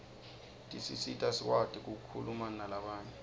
tisisita sikwati kukhulumanalabanye